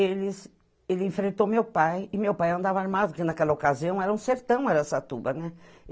Eles ele enfrentou meu pai, e meu pai andava armado, porque naquela ocasião era um sertão Araçatuba, né?